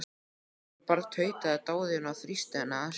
Elsku barn, tautaði Daðína og þrýsti henni að sér.